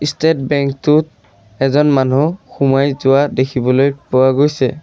State bank টোত এজন মানুহ সোমাই যোৱা দেখিবলৈ পোৱা গৈছে।